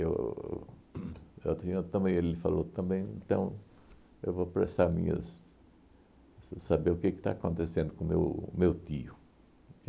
Eu uhn também ele falou também, então eu vou prestar minhas... sa saber o que que está acontecendo com o meu meu tio.